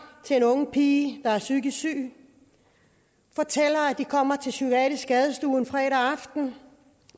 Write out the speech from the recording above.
til en ung pige der er psykisk syg fortæller at de kommer til psykiatrisk skadestue en fredag aften